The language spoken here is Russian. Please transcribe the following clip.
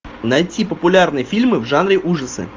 найти популярные фильмы в жанре ужасы